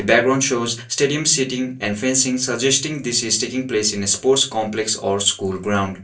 background shows staduim setting and fencing suggesting this is taking place in a sport's complex or school ground.